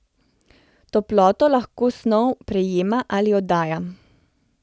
Toploto lahko snov prejema ali oddaja.